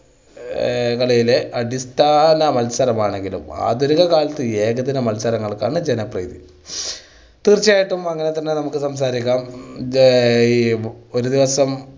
ഏ കളിയിലെ അടിസ്ഥാന മത്സരമാണെങ്കിലും ആധുനിക കാലത്ത് ഏകദിന മത്സരങ്ങൾക്കാണ് ജനപ്രീതി. തീർച്ചയായിട്ടും അങ്ങനെ തന്നെ നമ്മക്ക് സംസാരിക്കാം. ഒരു ദിവസം